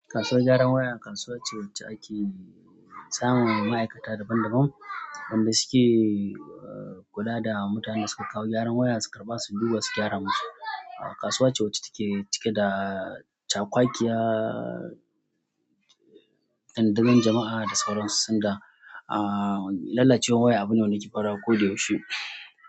Kasuwar gyaran waya kasuwa ce wacce ake samun ma'aikata daban daban wanda suke kula da mutanen da suka kawo gyaran waya su karɓa su duba su gyara mashi. Kasuwa ce wacce take cike da caƙwaƙiya, tandazan jama'a da sauran su, sanda lallacewar waya abune wanda yake farawa koyaushe.